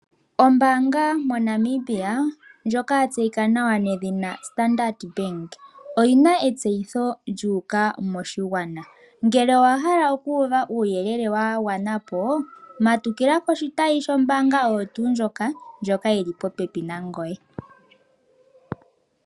Ombaanga moNamibia ndjoka yatseyika nawa nedhina Standard Bank oyina etseyitho lyuuka moshigwana . Ngele owa hala okuuva uuyelele wagwana po. Matukila koshitayi sho mbaanga oyo tuu ndjoka, shili popepi nangoye.